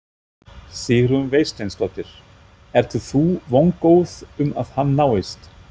Sigrún Vésteinsdóttir: Ert þú vongóð um að hann náist?